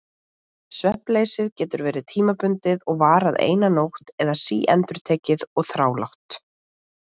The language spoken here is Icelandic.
Svefnleysið getur verið tímabundið og varað eina nótt eða síendurtekið og þrálátt.